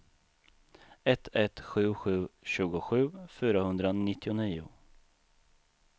ett ett sju sju tjugosju fyrahundranittionio